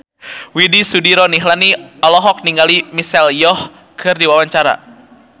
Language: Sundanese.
Widy Soediro Nichlany olohok ningali Michelle Yeoh keur diwawancara